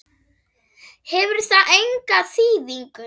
Hefur það enga þýðingu?